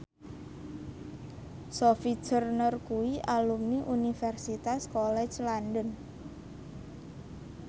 Sophie Turner kuwi alumni Universitas College London